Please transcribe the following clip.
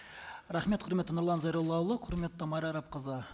рахмет құрметті нұрлан зайроллаұлы құрметті майра арапқызы